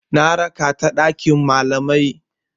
Na raka ta ɗakin malamai.